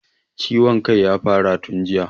Ciwon kan ya fara tun jiya